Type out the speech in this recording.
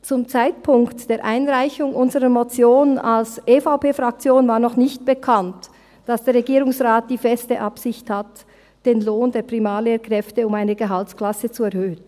Zum Zeitpunkt der Einreichung unserer Motion vonseiten der EVP-Fraktion war noch nicht bekannt, dass der Regierungsrat die feste Absicht hat, den Lohn der Primarlehrkräfte um eine Gehaltsklasse zu erhöhen.